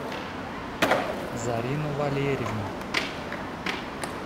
зарина валерьевна